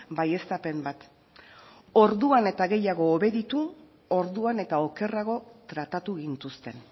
baieztapen bat orduan eta gehiago obeditu orduan eta okerrago tratatu gintuzten